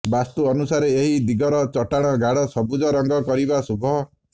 ବାସ୍ତୁ ଅନୁସାରେ ଏହି ଦିଗର ଚଟାଣ ଗାଢ ସବୁଜ ରଙ୍ଗ କରିବା ଶୁଭ